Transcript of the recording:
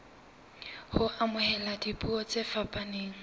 ho amohela dipuo tse fapaneng